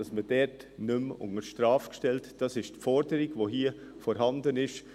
» Dies ist die Forderung, die hier vorliegt.